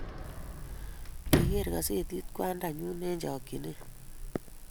kigeer kasetit kwanda nyu eng chakchinet